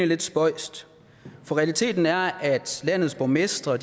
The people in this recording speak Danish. lidt spøjst for realiteten er at landets borgmestre